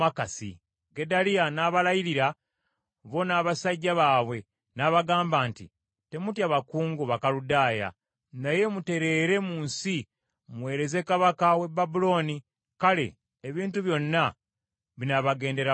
Gedaliya n’abalayirira bo n’abasajja baabwe n’abagamba nti, “Temutya bakungu Bakaludaaya, naye mutereere mu nsi muweereze kabaka w’e Babulooni kale ebintu byonna binaabagendera bulungi.”